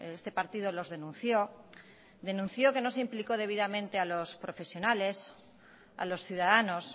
este partido los denunció denunció que no se implicó debidamente a los profesionales a los ciudadanos